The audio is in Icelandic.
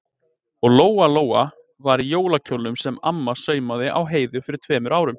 Og Lóa-Lóa var í jólakjólnum sem mamma saumaði á Heiðu fyrir tveimur árum.